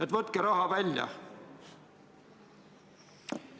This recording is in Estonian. Et võtke raha välja?